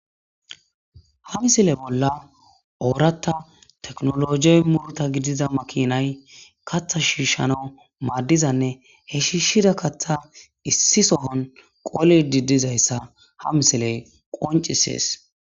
ha misile bolla ooratta teknologey muruta gidiza makinay katha shiishshana maaddizanne he shiishida katha issi sohon qoli didizayssa ha misiley qoncisees